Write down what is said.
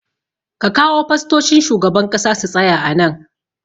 Ka kawo fastocin shugaban ƙasa su tsaya a nan